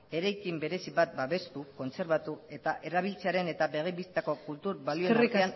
eraiki berezi bat babestu kontserbatu eta erabiltzearen eta begi bistako kultur balioen artean egoteko